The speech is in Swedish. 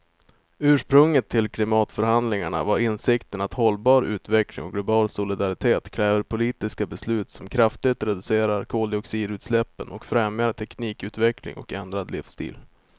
Ursprunget till klimatförhandlingarna var insikten att hållbar utveckling och global solidaritet kräver politiska beslut som kraftigt reducerar koldioxidutsläppen och främjar teknikutveckling och ändrad livsstil.